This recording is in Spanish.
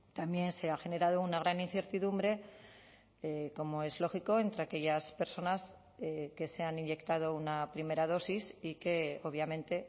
también se ha generado una gran incertidumbre como es lógico entre aquellas personas que se han inyectado una primera dosis y que obviamente